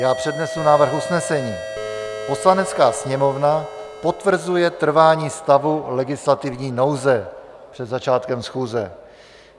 Já přednesu návrh usnesení: "Poslanecká sněmovna potvrzuje trvání stavu legislativní nouze, před začátkem schůze."